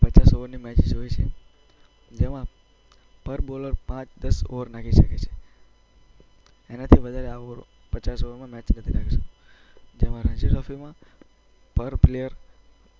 પચાસ ઓવરની મેચ હોય છે. જેમાં પર બોલર પાંચ-દસ ઓવર નાખી શકે છે. એનાથી વધારે પચાસ પણ નાખી શકે છે.